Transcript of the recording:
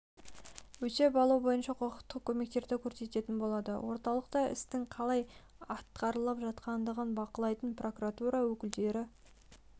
өтеп алу бойынша құқықтық көмектерді көрсететін болады орталықта істің қалай атқарылып жатқандығын бақылайтын прокуратура өкілдері